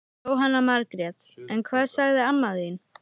Jóhanna Margrét: En hvað sagði amma þín?